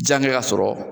Jankɛ ka sɔrɔ